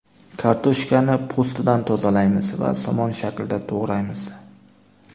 Kartoshkani po‘stidan tozalaymiz va somon shaklida to‘g‘raymiz.